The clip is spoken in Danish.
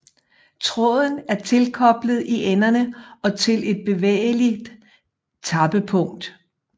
Tråden er tilkoblet i enderne og til et bevægeligt tappepunkt